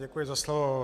Děkuji za slovo.